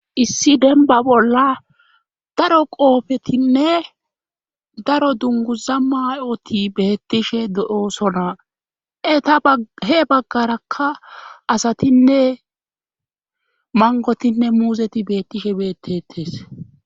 Issi denba bolla daro qoofetinne daro dunguza mayoti beettishe de'oosonaa e ta he baggarakka asatinne mangotinne muuzeti beettishe beettetes.